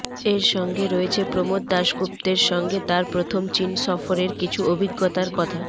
এর সঙ্গে রয়েছে প্রমোদ দাসগুপ্তের সঙ্গে তাঁর প্রথম চিন সফরের কিছু অভিজ্ঞতার কথা